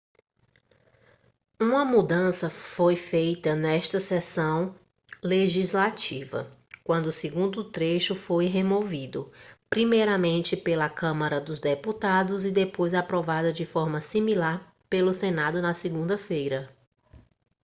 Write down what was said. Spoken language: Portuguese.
uma mudança foi feita nesta sessão legislativa quando o segundo trecho foi removido primeiramente pela câmara dos deputados e depois aprovada de forma similar pelo senado na segunda-feira